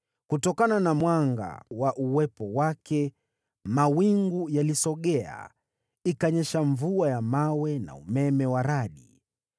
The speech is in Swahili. Kutokana na mwanga wa uwepo wake mawingu yalisogea, ikanyesha mvua ya mawe na umeme wa radi.